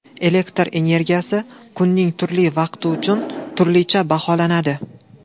Elektr energiyasi kunning turli vaqti uchun turlicha baholanadi.